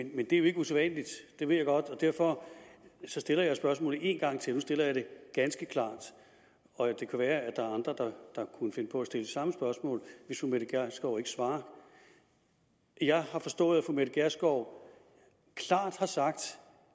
men det er jo ikke usædvanligt det ved jeg godt og derfor så stiller jeg spørgsmålet en gang til nu stiller jeg det ganske klart og det kan være der er andre der kunne finde på at stille det samme spørgsmål hvis fru mette gjerskov ikke svarer jeg har forstået at fru mette gjerskov klart har sagt